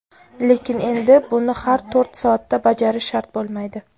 lekin endi buni har to‘rt soatda bajarish shart bo‘lmaydi.